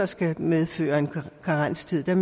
skal medføre en karenstid